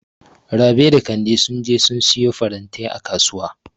Rabi da Kande sun je su siyo farantai a Kasuwa.